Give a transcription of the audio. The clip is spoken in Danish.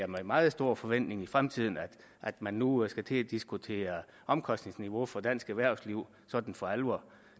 meget stor forventning i fremtiden at man nu skal til at diskutere omkostningsniveau for dansk erhvervsliv sådan for alvor